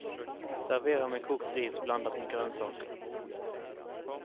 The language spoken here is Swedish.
Servera med kokt ris blandat med grönsaker.